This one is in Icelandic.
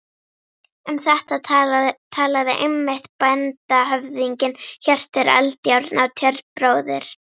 Um þetta talaði einmitt bændahöfðinginn Hjörtur Eldjárn á Tjörn, bróðir